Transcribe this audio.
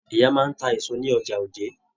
Ìyá máa n tá èso ní ọjà Òjé.